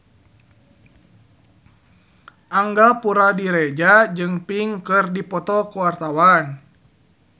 Angga Puradiredja jeung Pink keur dipoto ku wartawan